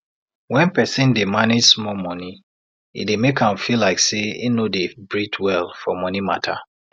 when person dey manage small monie e dey make am feel like say im no dey breathe well for monie matter